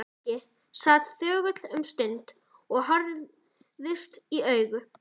Nikki sat þögull um stund og þau horfðust í augu.